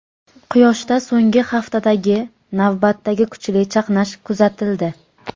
Quyoshda so‘nggi haftadagi navbatdagi kuchli chaqnash kuzatildi.